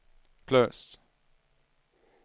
plus